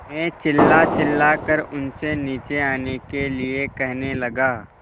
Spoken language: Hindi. मैं चिल्लाचिल्लाकर उनसे नीचे आने के लिए कहने लगा